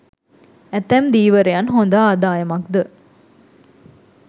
ඇතැම් ධීවරයන් හොඳ ආදායමක්ද